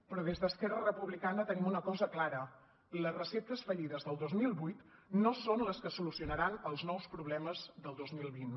però des d’esquerra republicana tenim una cosa clara les receptes fallides del dos mil vuit no són les que solucionaran els nous problemes del dos mil vint